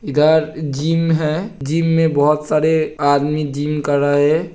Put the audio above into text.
इधर जिम है। जिम में बोहोत सारें आदमी जिम कर रहे हैं।